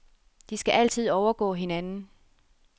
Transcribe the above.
De skal altid overgå hinanden.